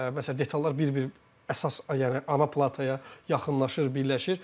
Məsələn, detallar bir-bir əsas, yəni ana plataya yaxınlaşır, birləşir.